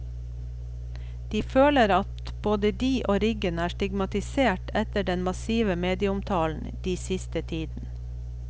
De føler at både de og riggen er stigmatisert etter den massive medieomtalen de siste tiden.